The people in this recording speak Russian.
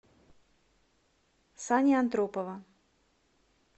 сани антропова